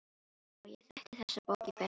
Já, ég þekkti þessa bók í bernsku.